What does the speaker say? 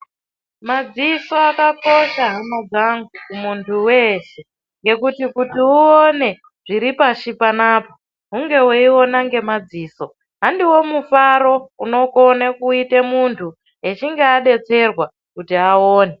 Madziso akakosha hama dzangu kumundu weshe ngekuti kuti uone zviri pashi panapa hunge weiona ngemadziso handiwo mufaro unokone kuite mundu echinge adetserwa kuti aone.